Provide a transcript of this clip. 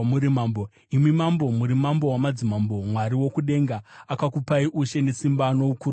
Imi mambo, muri mambo wamadzimambo. Mwari wokudenga akakupai ushe nesimba noukuru nokubwinya,